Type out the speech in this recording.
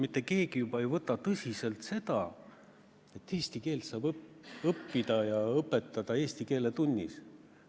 Mitte keegi ei võta enam tõsiselt juttu, et eesti keelt saab õppida ja õpetada eesti keele tunnis.